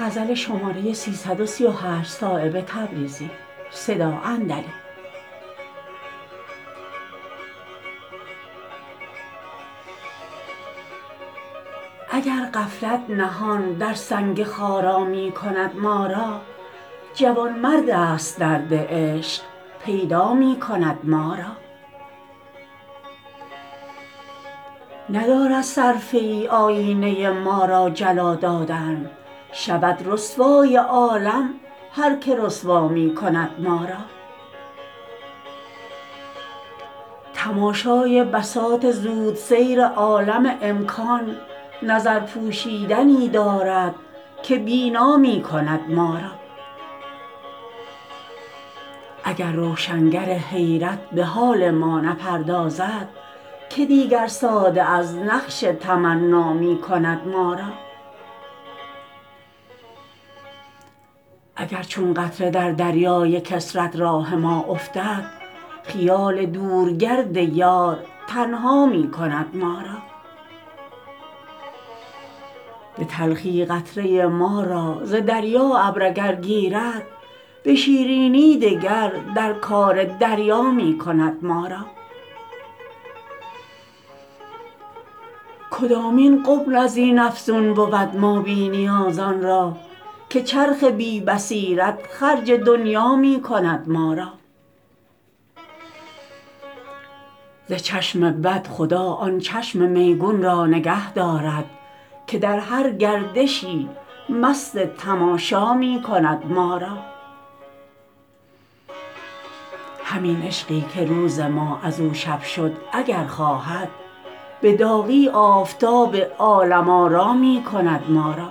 اگر غفلت نهان در سنگ خارا می کند ما را جوانمردست درد عشق پیدا می کند ما را ندارد صرفه ای آیینه ما را جلا دادن شود رسوای عالم هر که رسوا می کند ما را تماشای بساط زودسیر عالم امکان نظر پوشیدنی دارد که بینا می کند ما را اگر روشنگر حیرت به حال ما نپردازد که دیگر ساده از نقش تمنا می کند ما را اگر چون قطره در دریای کثرت راه ما افتد خیال دور گرد یار تنها می کند ما را به تلخی قطره ما را ز دریا ابر اگر گیرد به شیرینی دگر در کار دریا می کند ما را کدامین غبن ازین افزون بود ما بی نیازان را که چرخ بی بصیرت خرج دنیا می کند ما را ز چشم بد خدا آن چشم میگون را نگه دارد که در هر گردشی مست تماشا می کند ما را همین عشقی که روز ما ازو شب شد اگر خواهد به داغی آفتاب عالم آرا می کند ما را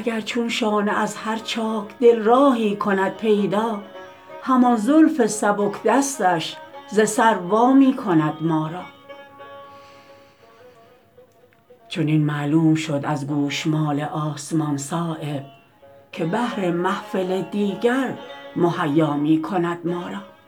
اگر چون شانه از هر چاک دل راهی کند پیدا همان زلف سبک دستش ز سر وامی کند ما را چنین معلوم شد از گوشمال آسمان صایب که بهر محفل دیگر مهیا می کند ما را